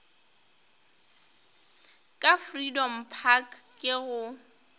ka freedom park ke go